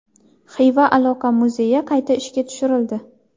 Xiva aloqa muzeyi qayta ishga tushirildi.